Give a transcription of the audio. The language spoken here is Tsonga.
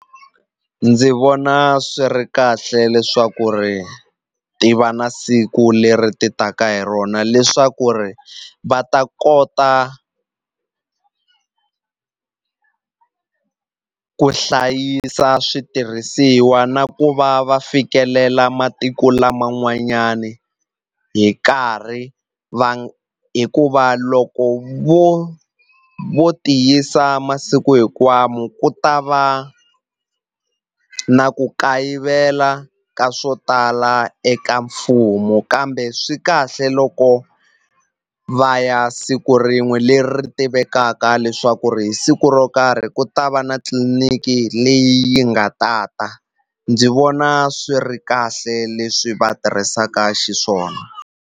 Ndzi vona swi ri kahle leswaku ri ti va na siku leri ti taka hi rona leswaku ri va ta kota ku hlayisa switirhisiwa na ku va va fikelela matiko laman'wanyani hi nkarhi va hikuva loko vo vo ti yisa masiku ku ta va na ku kayivela ka swo tala eka mfumo kambe swi kahle loko va ya siku rin'we leri ri tivekaka mhaka leswaku ri hi siku ro karhi ku ta va na tliliniki leyi yi nga tata ndzi vona swi ri kahle leswi va tirhisaka xiswona.